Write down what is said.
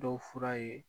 Dɔw fura ye